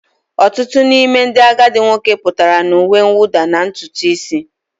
Ọtụtụ n'ime ndị agadi nwoke pụtara na uwe mwụda na ntutu isi